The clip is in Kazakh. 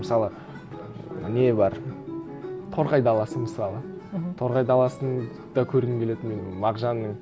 мысалы не бар торғай даласы мысалы мхм торғай даласын да көргім келеді мен мағжанның